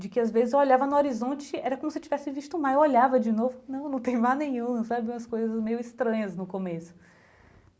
de que às vezes eu olhava no horizonte, era como se eu tivesse visto o mar, eu olhava de novo, não não tem mar nenhum, sabe, umas coisas meio estranhas no começo.